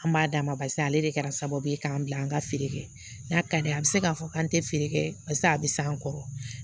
An b'a d'a ma barisa ale de kɛra sababu ye k'an bila an ka feere kɛ n'a ka di ye a bɛ se k'a fɔ k'an tɛ feere kɛ barisa a bɛ s'an kɔrɔ